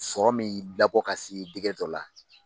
Sɔrɔ min i labɔ ka si dɔ la.